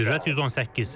Sürət 118.